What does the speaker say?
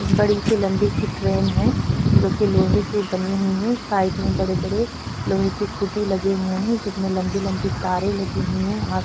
बड़ी सी लम्बी सी ट्रैन है जोकि लोहे की बनी हुई है साइड में बड़े-बड़े लोहे की खुटी लगी हुई हैं जिसमें लम्बी-लम्बी तारें लगी हुई हैं और --